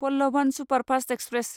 Pallavan superfast express